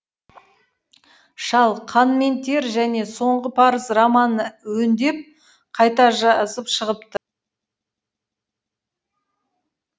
шал қан мен тер және соңғы парыз романын өңдеп қайта жазып шығыпты